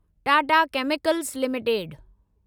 Tata chemicals limited